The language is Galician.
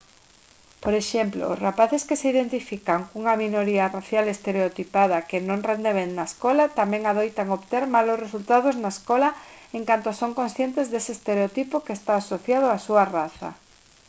por exemplo os rapaces que se identifican cunha minoría racial estereotipada que non rende ben na escola tamén adoitan obter malos resultados na escola en canto son conscientes dese estereotipo que está asociado á súa raza